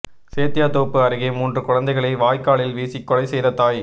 சேத்தியாத்தோப்பு அருகே மூன்று குழந்தைகளை வாய்க்காலில் வீசிக் கொலை செய்த தாய்